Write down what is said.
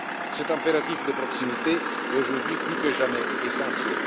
Cet impératif de proximité est, aujourd'hui, plus que jamais essentiel.